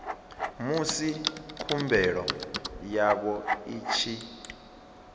musi khumbelo yavho i tshi